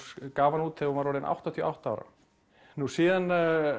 gaf hana út þegar hún var orðin áttatíu og átta ára nú síðan